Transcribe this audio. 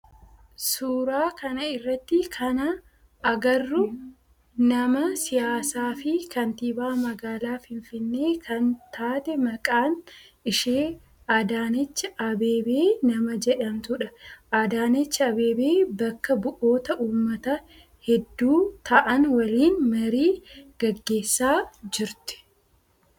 Suuraa kana irratti kana agarru nama siyaasaa fi kantiibaa magaalaa finfinnee kan taate maqaan ishee Adaanech Abeebee nama jedhamtudha. Adaanech Abeebee bakka bu'oota ummataa heddu ta'aan waliin marii gaggeessaa jirti.